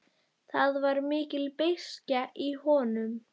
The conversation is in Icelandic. Það var mikil beiskja í honum.